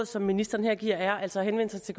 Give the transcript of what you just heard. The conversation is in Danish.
som ministeren her giver er altså at henvende sig til